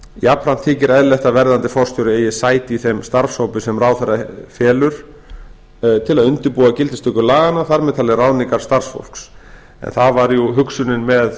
jafnframt þykir eðlilegt að verðandi forstjóri eigi sæti í þeim starfshópi sem ráðherra felur að undirbúa gildistöku laganna þar með talin ráðningar starfsfólks það var hugsunin með